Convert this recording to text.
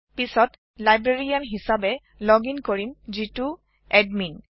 পিচত লাইব্ৰেৰীয়ান হিচাবে লোগিং কৰিম যিটো এডমিন